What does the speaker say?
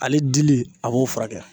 Ale dili a b'o furakɛ.